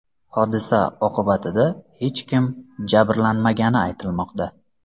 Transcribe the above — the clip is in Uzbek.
Hodisa oqibatida hech kim jabrlanmagani aytilmoqda.